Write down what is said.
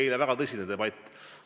Eile oli väga tõsine debatt.